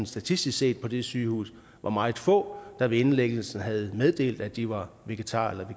statistisk set på det sygehus var meget få der ved indlæggelsen havde meddelt at de var vegetarer eller